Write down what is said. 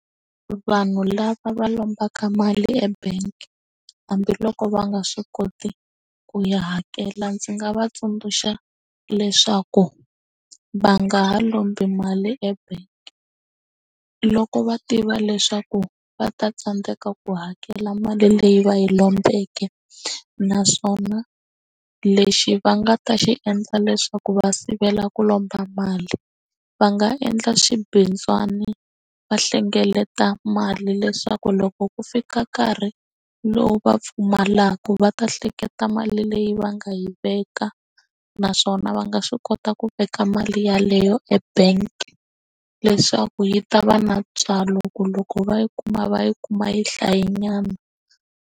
Vanhu lava va lombaka mali ebank hambiloko va nga swi koti ku ya hakela ndzi nga va tsundzuxa leswaku va nga ha lombi mali ebank loko va tiva leswaku va ta tsandeka ku hakela mali leyi va yi lombeke naswona lexi va nga ta xi endla leswaku va sivela ku lomba mali va nga endla swibindzwana va hlengeleta mali leswaku loko ku fika nkarhi lowu va pfumalaka va ta hleketa mali leyi va nga yi veka ka naswona va nga swi kota ku veka mali yeleyo ebank leswaku yi ta va na ntswalo ku loko va yi kuma va yi kuma yi hlaye nyana.